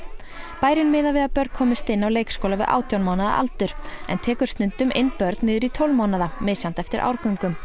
bærinn miðar við að börn komist inn á leikskóla við átján mánaða aldur en tekur stundum inn börn niður í tólf mánaða misjafnt eftir árgöngum